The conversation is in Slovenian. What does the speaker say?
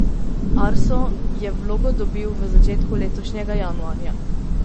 Arso je vlogo dobil v začetku letošnjega januarja.